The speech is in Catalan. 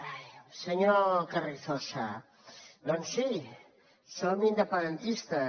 ai senyor carrizosa doncs sí som independentistes